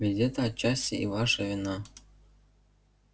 ведь это отчасти и ваша вина